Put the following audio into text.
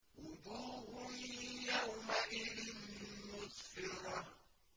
وُجُوهٌ يَوْمَئِذٍ مُّسْفِرَةٌ